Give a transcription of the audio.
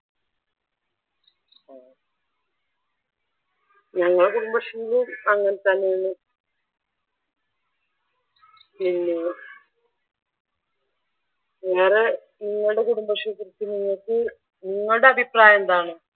ഞങ്ങടെ കുടുംബശ്രീയിലും അങ്ങനെ തന്നെ ആണ് പിന്നെ വേറെ നിങ്ങളുടെ കുടുംബശ്രീയെ കുറിച്ച് നിങ്ങൾക്ക് നിങ്ങളുടെ അഭിപ്രായം എന്താണ്?